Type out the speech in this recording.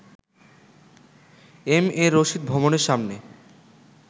M A Rashid ভবনের সামনে